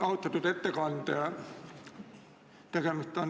Austatud ettekandja!